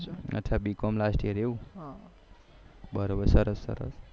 અચ્છા BCom last year એવું